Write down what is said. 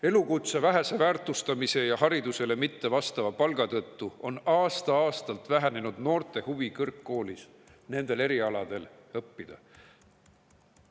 Elukutse vähese väärtustamise ja haridusele mittevastava palga tõttu on aasta-aastalt vähenenud noorte huvi kõrgkoolis nendel erialadel õppida.